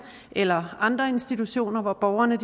eller andre institutioner hvor borgerne